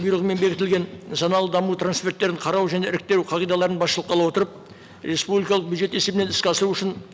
бұйрығымен бекітілген даму қарау және іріктеу қағидаларын басшылыққа ала отырып республикалық бюджет есебінен іске асыру үшін